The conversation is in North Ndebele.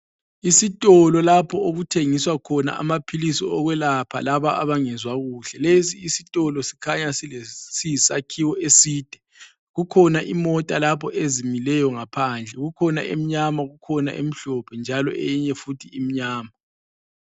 Isitolo lapho okuthengiswa khona amaphilizi okwelapha laba abangezwa kuhle. Lesi isitolo sikhanya siyisakhiwo eside. Kukhona imota lapho ezimileyo ngaphandle, kukhona emnyama kukhona emhlophe. Njalo eyinye futhi imnyama.